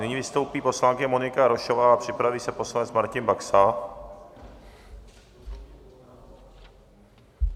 Nyní vystoupí poslankyně Monika Jarošová a připraví se poslanec Martin Baxa.